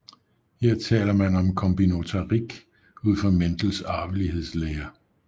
Her taler man om kombinatorik ud fra Mendel arvelighedslære